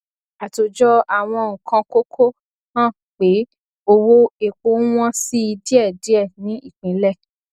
àtòjọ àwọn nǹkan kókó hàn pé owó epo ń wọn si díẹdíẹ ní ìpínlẹ